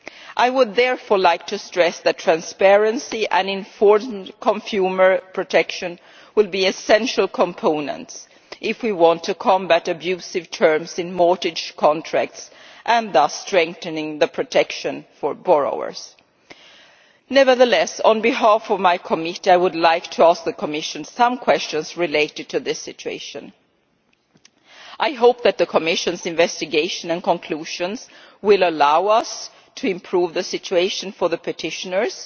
I would therefore like to stress that transparency and informed consumer protection will be essential components if we want to combat abusive terms in mortgage contracts and thus strengthen protection for borrowers. Nevertheless, on behalf of my committee, I would like to ask the Commission some questions related to this situation. I hope that the Commission's investigation and conclusions will allow us to improve the situation for the petitioners